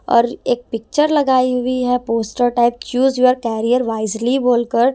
और एक पिक्चर लगाई हुई है poster type choose your career wisely बोलकर--